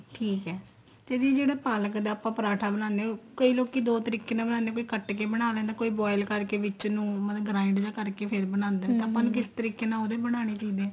ਠੀਕ ਏ ਤੇ ਦੀਦੀ ਜਿਹੜਾ ਪਾਲਕ ਦਾ ਆਪਾਂ ਪਰਾਂਠਾ ਬਣਾਨੇ ਆ ਕਈ ਲੋਕੀ ਦੋ ਤਰੀਕੇ ਨਾਲ ਬਣਾਨੇ ਏ ਕੀ ਕੱਟ ਕੇ ਬਣਾ ਲੈਂਦਾ ਕੋਈ boil ਕਰਕੇ ਵਿੱਚ ਨੂੰ grind ਜਾ ਕਰਕੇ ਫੇਰ ਬਣਾਦੇ ਆਪਾਂ ਨੂੰ ਕਿਸ ਤਰੀਕੇ ਨਾਲ ਉਹਦੇ ਬਣਾਨੇ ਚਾਹੀਦੇ ਏ